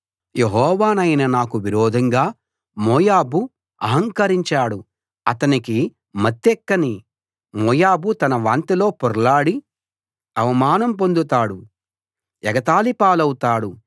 యెహోవానైన నాకు విరోధంగా మోయాబు ఆహంకరించాడు అతనికి మత్తెక్కనీ మోయాబు తన వాంతిలో పొర్లాడి అవమానం పొందుతాడు ఎగతాళి పాలవుతాడు